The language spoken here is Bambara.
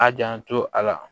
A janto a la